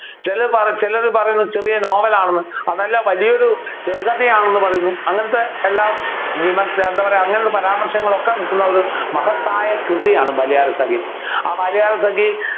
ചിലര് പറ ചിലര് പറയുന്നു ചെറിയ നോവൽ ആണെന്ന് അതല്ല വലിയൊരു ചെറുകഥയാണെന്ന് പറയുന്നു അങ്ങനെത്തെ എല്ലാ വിമർശനം എന്താ അങ്ങനെയുള്ള പരാമർശങ്ങൾ ഒക്കെ നിൽക്കുന്ന ഒരു മഹത്തായ കൃതിയാണ് ബാല്യകാലസഖി ആ ബാല്യകാലസഖി